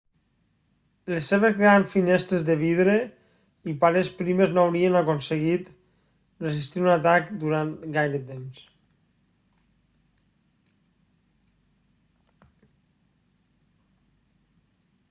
les seves grans finestres de vidre i parets primes no haurien aconseguit resistir un atac durant gaire temps